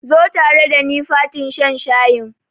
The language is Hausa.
Zo tare dani fatin shan shayin.